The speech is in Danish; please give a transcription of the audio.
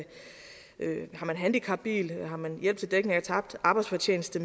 handicapbil hjælp til dækning af tabt arbejdsfortjeneste